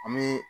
An bɛ